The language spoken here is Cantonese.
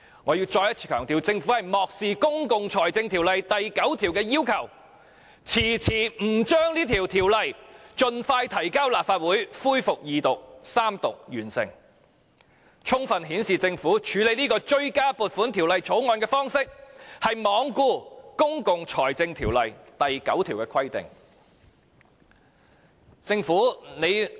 我要再一次強調，政府漠視《公共財政條例》第9條的要求，遲遲不將這條例草案盡快提交立法會恢復二讀及三讀，充分顯示政府處理這項追加撥款條例草案的方式，是罔顧《公共財政條例》第9條的規定。